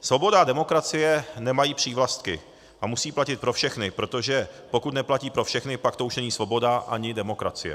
Svoboda a demokracie nemají přívlastky a musí platit pro všechny, protože pokud neplatí pro všechny, pak to už není svoboda ani demokracie.